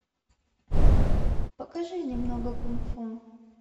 покажи немного кунг фу